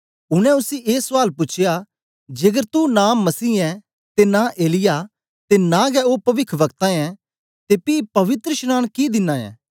उनै उसी ए सुआल पूछया जेकर तू नां मसीह ऐं ते नां एलिय्याह ते नां गै ओ पविखवक्ता ऐं ते पी पवित्रशनांन कि दिना ऐं